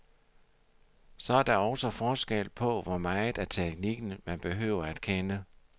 Så der er også forskel på, hvor meget af teknikken, man behøver at kende.